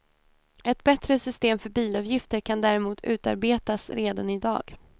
Ett bättre system för bilavgifter kan däremot utarbetas redan i dag.